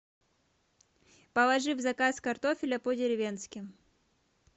положи в заказ картофеля по деревенски